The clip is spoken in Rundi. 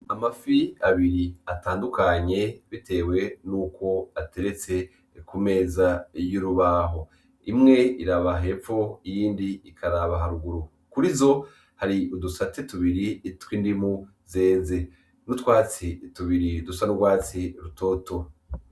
Amafi abiri atandukanye bitewe nuko ateretse ku meza y'urubaho, imwe iraba hepfo iyindi ikaraba haruguru kurizo hari udusate tubiri tw'indimu zeze n'utwatsi tubiri dusa n'urwatsi rutoto